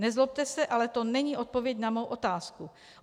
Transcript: Nezlobte se, ale to není odpověď na mou otázku.